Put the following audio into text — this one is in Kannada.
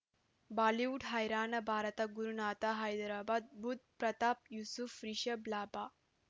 ಬಾಲಿವುಡ್ ಹೈರಾಣ ಭಾರತ ಗುರುನಾಥ ಹೈದರಾಬಾದ್ ಬುಧ್ ಪ್ರತಾಪ್ ಯೂಸುಫ್ ರಿಷಬ್ ಲಾಭ